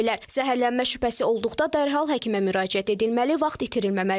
Zəhərlənmə şübhəsi olduqda dərhal həkimə müraciət edilməli, vaxt itirilməməlidir.